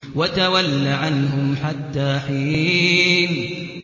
وَتَوَلَّ عَنْهُمْ حَتَّىٰ حِينٍ